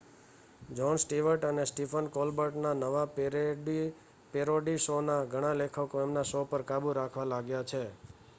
John Stewart અને Stephen Colbert ના નવા પેરોડી શો ના ઘણા લેખકો એમના શો પર કાબૂ રાખવા લાગ્યા છે